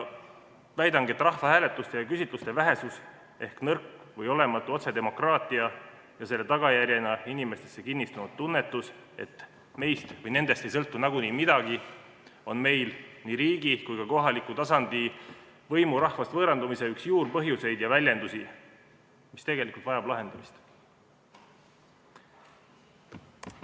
Väidangi, et rahvahääletuste ja -küsitluste vähesus ehk nõrk või olematu otsedemokraatia ja selle tagajärjena inimestesse kinnistunud tunnetus, et nendest ei sõltu nagunii midagi, on meil nii riigi kui ka kohaliku tasandil võimu rahvast võõrandumise üks juurpõhjuseid ja väljendusi, mis tegelikult vajab lahendamist.